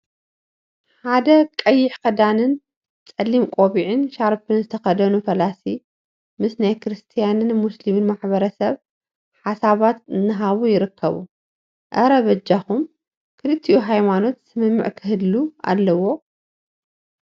ሓደ ቀይሕ ክዳንን ፀሊም ቆቢዕን ሻርፒን ዝተከደኑ ፈላሲ ምስ ናይ ክርስትያንን ሙሰሊምን ማሕበረሰብ ሓሳባት እናሃቡ ይርከቡ፡፡ አረ! በጃኩም ክልቲኡ ሃይማኖት ስምምዕ ክህሉ አለዎ፡፡